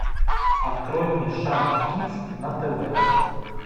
открой мне шант кидс на тв